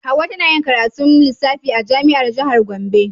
Hauwa tana karatun lissafi a jami'ar jihar Gombe.